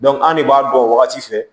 an de b'a bɔ wagati fɛ